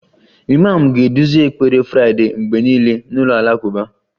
Imam ga-eduzi ekpere Friday mgbe niile n'ụlọ alakụba